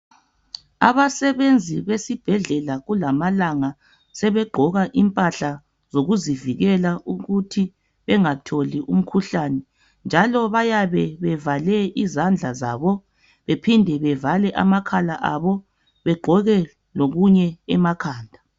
Abasebenzi besibhedlela kulamalanga sebegqoka impahla zokuzivikela ukuthi bengatholi umkhuhlane njalo bayabe bevale izandla zabo bephinde bevale amakhala abo begqoke lokunye emakhala